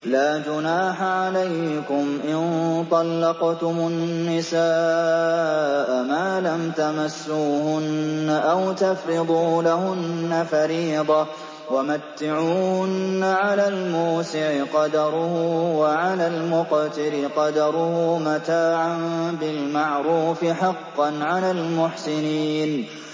لَّا جُنَاحَ عَلَيْكُمْ إِن طَلَّقْتُمُ النِّسَاءَ مَا لَمْ تَمَسُّوهُنَّ أَوْ تَفْرِضُوا لَهُنَّ فَرِيضَةً ۚ وَمَتِّعُوهُنَّ عَلَى الْمُوسِعِ قَدَرُهُ وَعَلَى الْمُقْتِرِ قَدَرُهُ مَتَاعًا بِالْمَعْرُوفِ ۖ حَقًّا عَلَى الْمُحْسِنِينَ